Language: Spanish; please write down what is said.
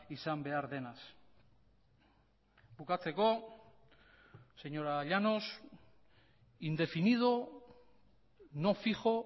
izan behar denaz bukatzeko señora llanos indefinido no fijo